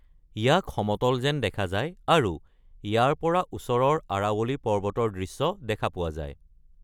ইয়াক সমতল যেন দেখা যায় আৰু ইয়াৰ পৰা ওচৰৰ আৰাৱলী পৰ্বতৰ দৃশ্য দেখা পোৱা যায়।